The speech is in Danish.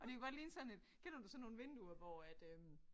Og det kunne godt ligne sådan et kender du sådan nogle vinduer hvor at øh